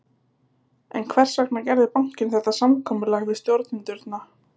En hvers vegna gerði bankinn þetta samkomulag við stjórnendurna?